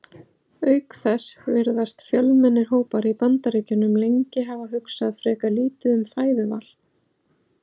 Auk þess virðast fjölmennir hópar í Bandaríkjunum lengi hafa hugsað frekar lítið um fæðuval.